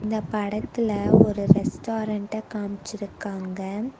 இந்த படத்துல ஒரு ரெஸ்டாரண்ட்ட காம்ச்சிருக்காங்க.